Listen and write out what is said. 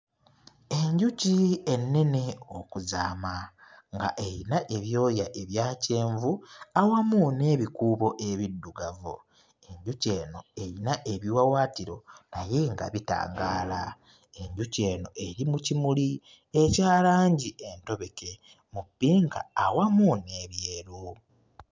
Enjuki ennene okuzaama nga eyina ebyoya ebya kyenvu awamu n'ebikuubo ebiddugavu. Enjuki eno eyina ebiwawaatiro naye nga bitangaala. Enjuki eno eri mu kimuli ekya langi entobeke mu ppinka awamu n'ebyeru.